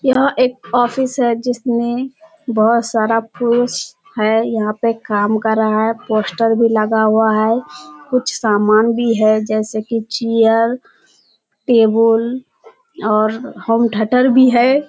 यह एक ऑफिस हैं जिसमें बहुत सारा पुरुष है यहाँ पे काम कर रहा है पोस्टर भी लगा हुआ है कुछ सामान भी है जैसे कि चीयर टेबुल और होम थेटर भी है।